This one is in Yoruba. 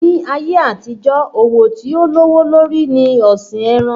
Ní ayé àtijó, òwò tí ó lówó lórí ni ọ̀sìn ẹran.